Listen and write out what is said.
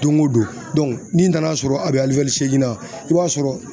Don o don n'i nan'a sɔrɔ a bɛ na i b'a sɔrɔ